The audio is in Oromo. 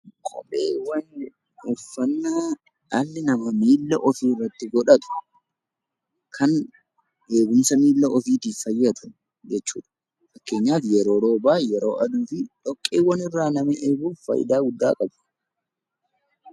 Kopheewwan uffannaa dhalli namaa miilla ofii irratt godhatu kan eegumsa miilla ofiitiif fayyadu jechuudha. Fakkeenyaaf yeroo roobaa, yeroo aduu fi dhoqqeewaaan irraa nama eeguuf faayidaa guddaa qabu.